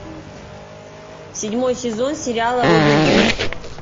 седьмой сезон сериала робин гуд